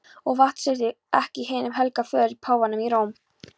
Og vantreystu ekki hinum helga föður, páfanum í Róm.